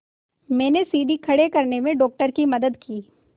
मैंने सीढ़ी खड़े करने में डॉक्टर की मदद की